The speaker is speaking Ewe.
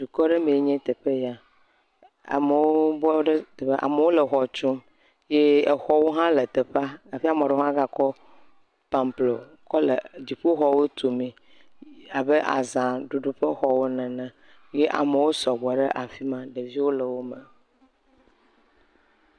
Dukɔ aɖe mee nye teƒe ya. amewo bɔ ɖe teƒe. amewo le xɔ tum ye exɔwo hã le teƒea. Hafi ame aɖewo hã gekɔ paplo kɔ le dziƒoxɔwo tu mee abe azaɖuɖu ƒe xɔwo ene ye amewo sɔgbɔ ɖe afi a. Ɖeviwo le wo me.